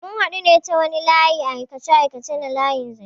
Mun hadu ne ta wani aikace-aikace na layin zanche.